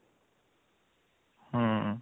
ହୁଁ